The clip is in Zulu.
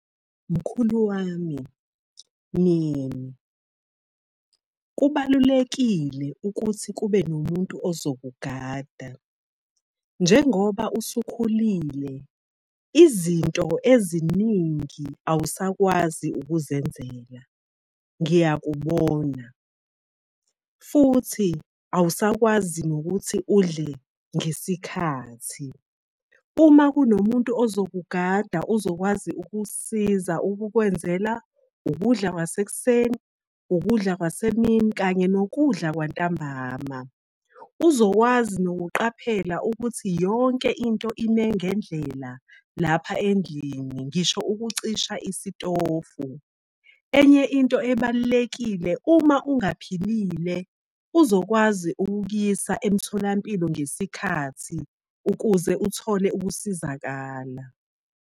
Mkhulu wami, Myeni, kubalulekile ukuthi kube nomuntu ozokugada. Njengoba usukhulile, izinto eziningi awusakwazi ukuzenzela ngiyakubona, futhi awusakwazi nokuthi udle ngesikhathi. Uma kunomuntu ozokugada uzokwazi ukusiza ukukwenzela ukudla kwasekuseni, ukudla kwasemini kanye nokudla kwantambama, uzokwazi nokuqaphela ukuthi yonke into ime ngendlela lapha endlini ngisho ukucisha isitofu. Enye into ebalulekile, uma ungaphilile, uzokwazi ukukuyisa emtholampilo ngesikhathi ukuze uthole ukusizakala.